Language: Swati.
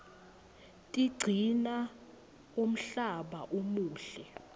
tiqcina umhlaba umuhle